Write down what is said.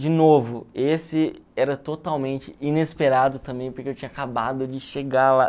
De novo, esse era totalmente inesperado também, porque eu tinha acabado de chegar lá.